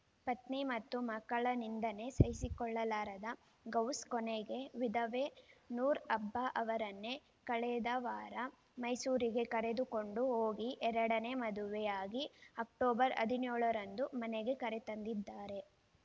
ಪತ್ನಿ ಮತ್ತು ಮಕ್ಕಳ ನಿಂದನೆ ಸಹಿಸಿಕೊಳ್ಳಲಾರದ ಗೌಸ್‌ ಕೊನೆಗೆ ವಿಧವೆ ನೂರ್‌ ಅಬ್ಜಾ ಅವರನ್ನೇ ಕಳೆದ ವಾರ ಮೈಸೂರಿಗೆ ಕರೆದುಕೊಂಡು ಹೋಗಿ ಎರಡನೇ ಮದುವೆಯಾಗಿ ಅಕ್ಟೋಬರ್ ಹದಿನ್ಯೋಳರಂದು ಮನೆಗೆ ಕರೆತಂದಿದ್ದಾರೆ